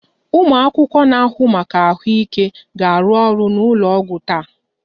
Ụmụ akwụkwọ na-ahụ maka ahụike ga-arụ ọrụ n'ụlọ ọgwụ taa